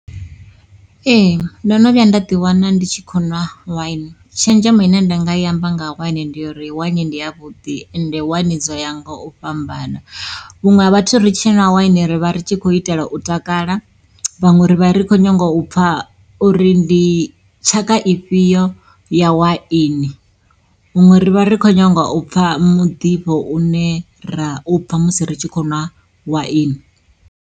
Ee ndo no vhuya nda ḓi wana ndi tshi kho ṅwa waini, tshenzhemo ine nda nga yi amba nga waini ndi ya uri waini ndi ya vhuḓi ende waini dzo ya nga u fhambana. Vhuṅwe ha vhathu ri tshi ṅwa waini ri vha ri tshi khou itela u takala, vhaṅwe ri vha ri khou nyanga u pfha uri ndi tshaka ifhio ya waini, huṅwe ri vha ri khou nyanga u pfha muḓifho une ra u pfha musi ri tshi khou ṅwa waini.